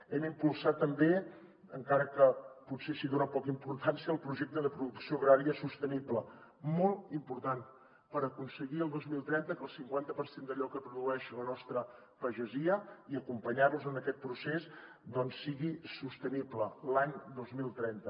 hem impulsat també encara que potser s’hi dona poca importància el projecte de producció agrària sostenible molt important per aconseguir el dos mil trenta que el cinquanta per cent d’allò que produeix la nostra pagesia i acompanyar los en aquest procés doncs sigui sostenible l’any dos mil trenta